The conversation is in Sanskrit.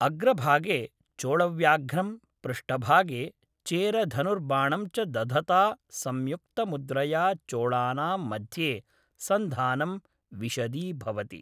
अग्रभागे चोळव्याघ्रं, पृष्ठभागे चेरधनुर्बाणं च दधता संयुक्तमुद्रया चोळानां मध्ये सन्धानं विशदीभवति।